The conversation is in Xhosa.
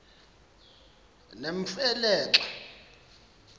nemfe le xa